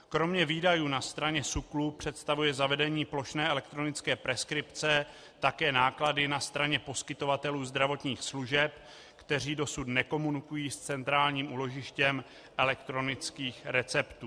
Kromě výdajů na straně SÚKLu představuje zavedení plošné elektronické preskripce také náklady na straně poskytovatelů zdravotních služeb, kteří dosud nekomunikují s centrálním úložištěm elektronických receptů.